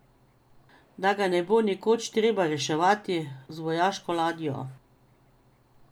Da ga ne bo nekoč treba reševati z vojaško ladjo.